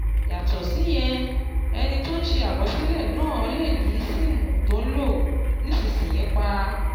Yàtọ̀ síyẹn, ẹni tó ń ṣe àkọsílẹ̀ náà lè yí SIM tó ń lò nísinsìnyí pa